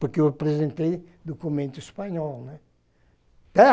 Porque eu apresentei documento espanhol, né?